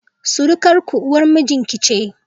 Surukarku, uwar mijinki ce.